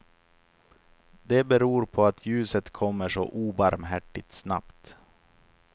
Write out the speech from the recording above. Det beror på att ljuset kommer så obarmhärtigt snabbt.